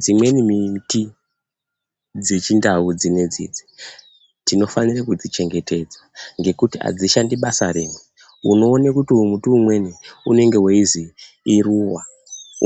Dzimweni miti dzechindau dzinedzidzi, tinofanira kudzichengetedza, ngekuti adzishandi basa rimwe. Unoona kuti uyu muti umweni, unenge weizwi iruwa